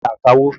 Ta ni akawó?